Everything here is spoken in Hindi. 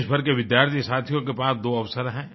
देश भर के विद्यार्थियोंसाथियों के पास दो अवसर हैं